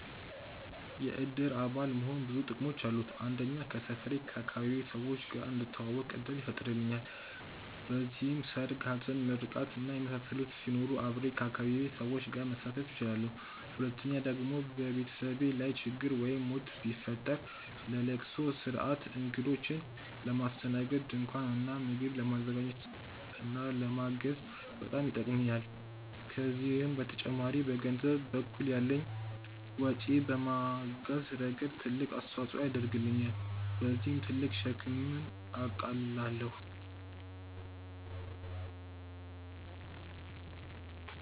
የእድር አባል መሆን ብዙ ጥቅሞች አሉት። አንደኛ ከሰፈሬ/ አካባቢዬ ሰዎች ጋር እንድተዋወቅ እድል ይፈጥርልኛል። በዚህም ሰርግ፣ ሀዘን፣ ምርቃት እና የመሳሰሉት ሲኖሩ አብሬ ከአካባቢዬ ሰዎች ጋር ማሳለፍ እችላለሁ። ሁለተኛ ደግሞ በቤተሰቤ ላይ ችግር ወይም ሞት ቢፈጠር ለለቅሶ ስርአት፣ እግዶችን ለማስተናገድ፣ ድንኳን እና ምግብ ለማዘጋጀት እና ለማገዝ በጣም ይጠቅሙኛል። ከዚህም በተጨማሪ በገንዘብ በኩል ያለኝን ወጪ በማገዝ ረገድ ትልቅ አስተዋፅኦ ያደርግልኛል። በዚህም ትልቅ ሸክምን አቃልላለሁኝ።